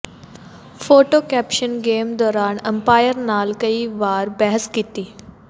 photo caption game ਦੌਰਾਨ umpire ਨਾਲ ਕਈ ਵਾਰ ਬਹਿਸ ਕੀਤੀ